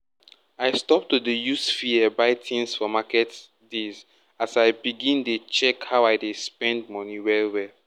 i stop to dey use fear buy tings for market days as i begin dey check how i spend money well well